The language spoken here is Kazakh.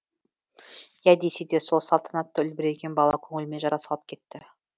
иә десе де сол салтанатты үлбіреген бала көңіліме жара салып кетті